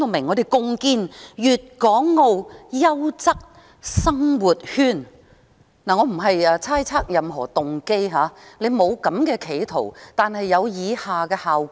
我並不是猜測他有任何動機，但即使沒有企圖，卻有以下的效果。